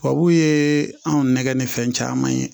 Tubabu ye anw nɛgɛ ni fɛn caman ye